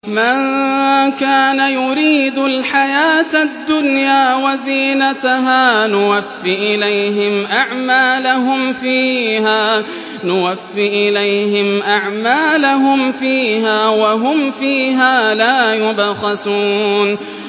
مَن كَانَ يُرِيدُ الْحَيَاةَ الدُّنْيَا وَزِينَتَهَا نُوَفِّ إِلَيْهِمْ أَعْمَالَهُمْ فِيهَا وَهُمْ فِيهَا لَا يُبْخَسُونَ